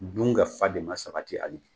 Dun ka fa de ma sabati hali bi.